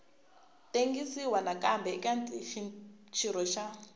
tengisiwa nakambe eka xirho xa